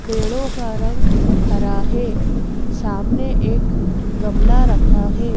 पेड़ों का रंगहरा है सामने एक गमला रखा है।